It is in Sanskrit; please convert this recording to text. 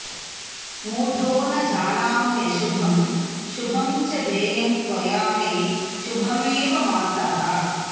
मूढो न जानाम्यशुभं शुभं च देयं त्वया मे शुभमेव मातः